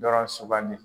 Dɔrɔn sugandi